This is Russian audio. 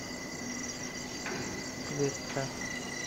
кветта